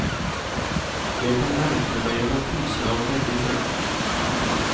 Jeg kan ergre meg over pyser av begge kjønn.